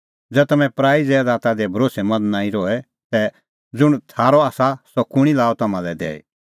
ज़ै तम्हैं पराई ज़ैदाता दी भरोस्सैमंद नांईं रहे तै ज़ुंण थारअ आसा सह कुंणी लाअ तम्हां लै दैई